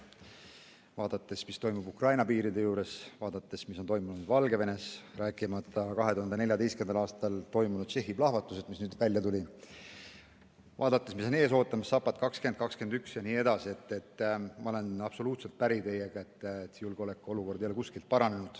Vaadates, mis toimub Ukraina piiride juures, vaadates, mis on toimunud Valgevenes, rääkimata 2014. aastal toimunud Tšehhi plahvatusest, mis nüüd välja tulid, vaadates, mis on ees ootamas – Zapad 2021 – jne, ma olen teiega absoluutselt päri, et julgeolekuolukord ei ole kuskil paranenud.